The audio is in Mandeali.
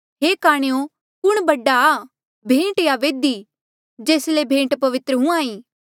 हे काणेयो कुण बडा आ भेंट या बेदी जेस ले भेंट पवित्र हुंहां ईं